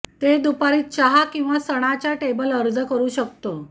ते दुपारी चहा किंवा सणाच्या टेबल अर्ज करू शकतो